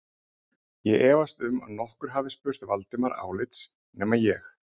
Ég efast um að nokkur hafi spurt Valdimar álits nema ég